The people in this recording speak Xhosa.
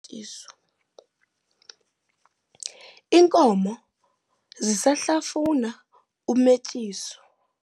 Inkomo zisahlafuna umetyiso.